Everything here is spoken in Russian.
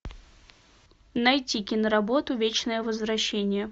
найти киноработу вечное возвращение